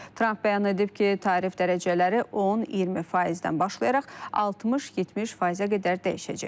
Tramp bəyan edib ki, tarif dərəcələri 10-20%-dən başlayaraq 60-70%-ə qədər dəyişəcək.